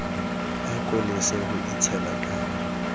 ako lese ho itshela ka